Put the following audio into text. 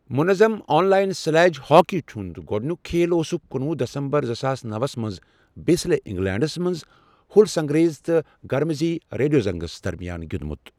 منظم online sledge hockey ہُنٛد گۄڈنیک کھیل اوسُکھ کُنوُہ دسمبر زٕساس نوَس منٛز بسلے، انگلینڈس منٛز ہُل سٹنگریز تہٕ گرمزبی ریڈونگزس درمیان گیُنٛدمت۔